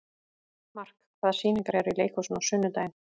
Mark, hvaða sýningar eru í leikhúsinu á sunnudaginn?